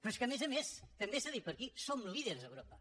però és que a més a més també s’ha dit per aquí som líders a europa